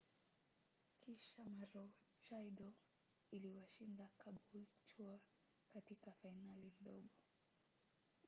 kisha maroochydore iliwashinda caboolture katika fainali ndogo